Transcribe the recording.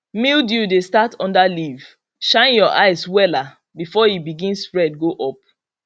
mildew dey start under leaf shine your eye wella before e begin spread go up